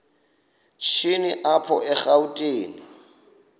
shini apho erawutini